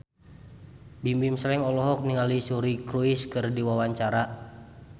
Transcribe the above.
Bimbim Slank olohok ningali Suri Cruise keur diwawancara